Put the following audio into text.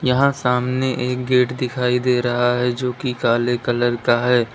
यहां सामने एक गेट दिखाई दे रहा है जो कि काले कलर का है।